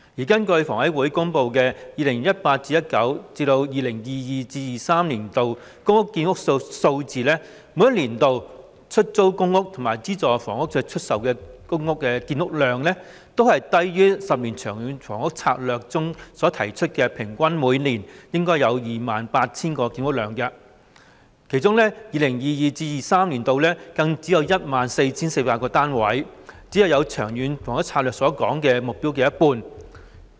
根據香港房屋委員會公布的 2018-2019 年度至 2022-2023 年度公屋建屋數字，每年度的出租公屋和資助出售房屋的建屋量，均低於《長遠房屋策略》提出每年平均 28,000 個單位的建屋量，其中 2022-2023 年度更只有 14,400 個單位，只達《長策》目標的一半。